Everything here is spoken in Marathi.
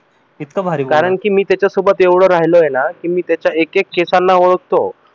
कारण कि मी त्याच्यासोबत इतकं राहिलोय ना कि मी त्याच्या एक एक केसांना ओळखतो.